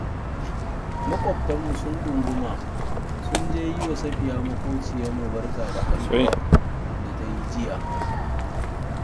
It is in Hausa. Maƙwabtanmu sun ɗunguma sun je yi wa Safiya maƙwabciyarmu barkar haihuwar da ta yi jiya